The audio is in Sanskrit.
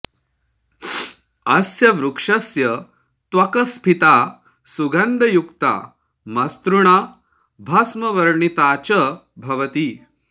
अस्य वृक्षस्य त्वक् स्फीता सुगन्धयुक्ता मसृणा भस्मवर्णिता च भवति